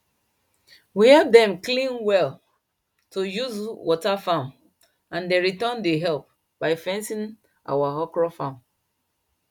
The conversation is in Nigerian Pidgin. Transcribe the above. we help dem clean well to use water farm and dem return the help by fencing our okro farm